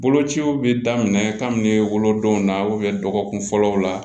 Bolociw bɛ daminɛ kabini wolodenw na dɔgɔkun fɔlɔw la